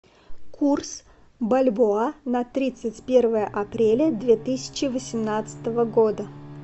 курс бальбоа на тридцать первое апреля две тысячи восемнадцатого года